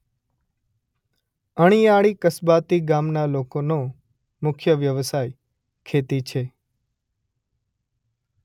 અણીયાળી કસ્બાતી ગામના લોકોનો મુખ્ય વ્યવસાય ખેતી છે.